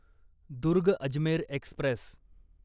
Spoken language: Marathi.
दुर्ग अजमेर एक्स्प्रेस